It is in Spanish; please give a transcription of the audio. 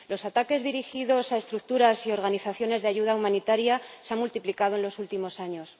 Los ataques dirigidos a estructuras y organizaciones de ayuda humanitaria se han multiplicado en los últimos años.